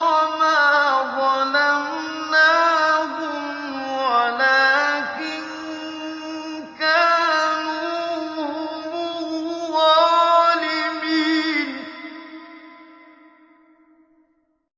وَمَا ظَلَمْنَاهُمْ وَلَٰكِن كَانُوا هُمُ الظَّالِمِينَ